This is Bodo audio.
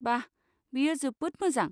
बा! बेयो जोबोद मोजां।